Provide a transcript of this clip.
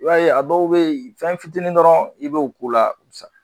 I b'a ye a dɔw be yen fɛn fitinin dɔrɔn i b'o k'u la u be sa